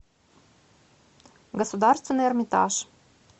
государственный эрмитаж